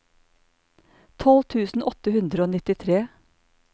tolv tusen åtte hundre og nittitre